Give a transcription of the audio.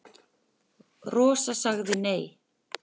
Rosa sagði nei.